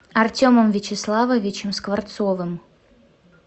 артемом вячеславовичем скворцовым